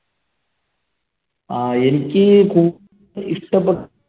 ആഹ് എനിക്ക് ഇഷ്ടപ്പെട്ട